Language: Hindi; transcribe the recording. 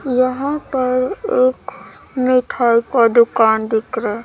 यहां पर एक मिठाई का दुकान दिख रहा है।